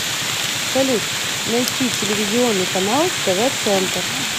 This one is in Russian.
салют найти телевизионный канал тв центр